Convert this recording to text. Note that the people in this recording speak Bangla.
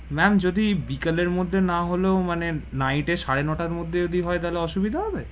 Ma'am জদি বিকেলের মধ্যে না হলেও, মানে, night এ সাড়ে নো টার মধ্যে হলে অসুবিধা হবে?